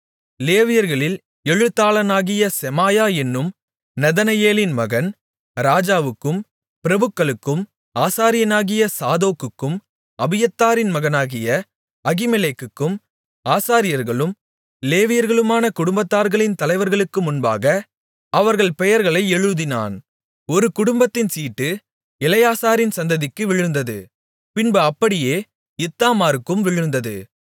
லேவியர்களில் எழுத்தாளனாகிய செமாயா என்னும் நெதனெயேலின் மகன் ராஜாவுக்கும் பிரபுக்களுக்கும் ஆசாரியனாகிய சாதோக்குக்கும் அபியத்தாரின் மகனாகிய அகிமெலேக்குக்கும் ஆசாரியர்களும் லேவியர்களுமான குடும்பத்தார்களின் தலைவர்களுக்கு முன்பாக அவர்கள் பெயர்களை எழுதினான் ஒரு குடும்பத்தின் சீட்டு எலெயாசாரின் சந்ததிக்கு விழுந்தது பின்பு அப்படியே இத்தாமாருக்கும் விழுந்தது